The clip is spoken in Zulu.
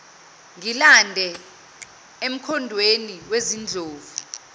ngilandele emkhondweni wezindlovu